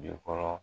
Jokɔrɔ